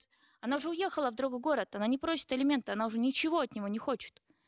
она уже уехала в другой город она не просит алименты она уже ничего от него не хочет